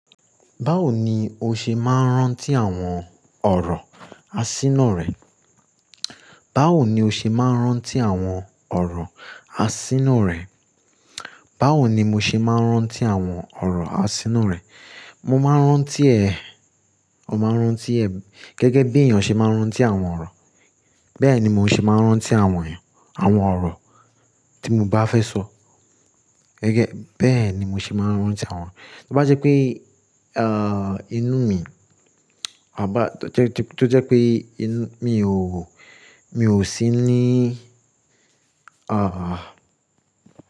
Báwo ni o ṣe máa ń rántí àwọn ọ̀rọ̀ asína rẹ? Báwo ni o ṣe máa ń rántí àwọn ọ̀rọ̀ asínú rẹ? Báwo ni mo ṣe máa ń rántí àwọn ọ̀rọ̀ asínú rẹ? Mo máa ń rántí ẹ̀, mo máa ń rántí ẹ̀ gẹ́gẹ́ bí èèyàn ṣe máa ń rántí àwọn ọ̀rọ̀. Bẹ́ẹ̀ ni mo ṣe máa ń rántí àwọn, àwọn ọ̀rọ̀ tí mo bá fẹ́ sọ. Gẹ́gẹ́, bẹ́ẹ̀ ni mo ṣe máa ń rántí àwọn. Tó bá jẹ́ pé, inú mi, à bá, tó jẹ́ pé inú mi ò, mi ò sí ní,